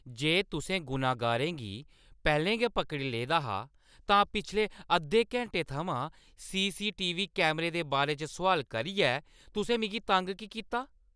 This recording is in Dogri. जे तुसें गुनहगारें गी पैह्‌लें गै पकड़ी लेदा हा, तां पिछले अद्धें घैंटे थमां सीसीटीवी कैमरे दे बारे च सुआल करियै तुसें मिगी तंग की कीता?